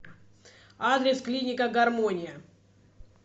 адрес клиника гармония